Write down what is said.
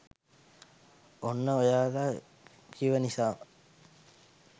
ඔන්න ඔයාලා කිව නිසාම